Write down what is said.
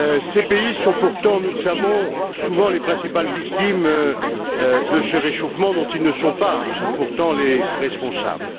Ces pays sont pourtant, nous le savons, souvent les principales victimes de ce réchauffement dont ils ne sont pas, pourtant, les responsables.